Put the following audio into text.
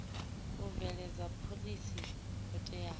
u bveledza phoḽisi yo teaho